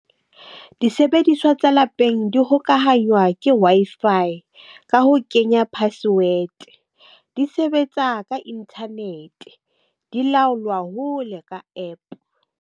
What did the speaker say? Disebediswa tsa lapeng di hokahanywa ke Wi-Fi ka ho kenya password di sebetsa ka internet di laolwa hole ka APP.